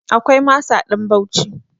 Akwai masa ɗan Bauci.